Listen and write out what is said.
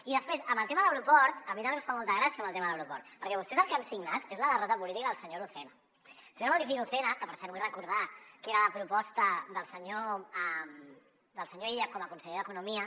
i després amb el tema de l’aeroport a mi també em fa molta gràcia el tema de l’aeroport perquè vostès el que han signat és la derrota política del senyor lucena el senyor maurici lucena que per cert vull recordar que era la proposta del senyor illa com a conseller d’economia